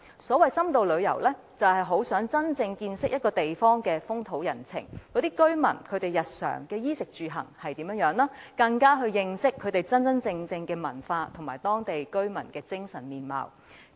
所謂深度旅遊，是希望真正見識一個地方的風土人情，了解當地居民日常的衣食住行，加深認識當地真正文化及居民的精神面貌。